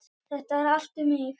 Þetta er allt um mig!